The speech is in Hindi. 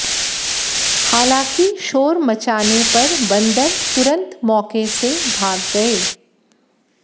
हालांकि शोर मचाने पर बंदर तुरंत मौके से भाग गए